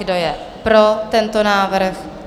Kdo je pro tento návrh?